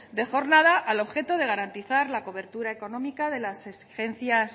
de jornada al objeto de garantizar la cobertura económica de las